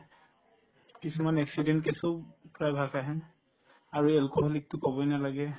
কিছুমান accident case ও প্ৰায়ভাগ আহে আৰু alcoholic তো কবয়ে নালাগে